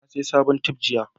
na saya sabon tef jiya